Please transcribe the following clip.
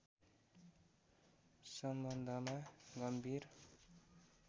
सम्बन्धमा गम्भीर